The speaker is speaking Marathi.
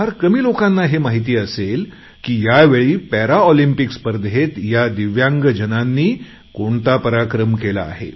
फार कमी लोकांना हे माहिती असेल की या वेळी पॅरालिम्पिक्स स्पर्धेत या दिव्यांग जनांनी कोणता पराक्रम केला आहे